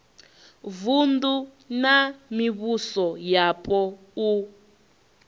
vunu na mivhuso yapo u